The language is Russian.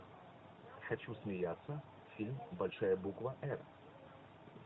хочу смеяться фильм большая буква эр